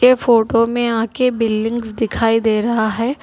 ये फोटो में आगे बिल्डिंग्स दिखाई दे रहा है।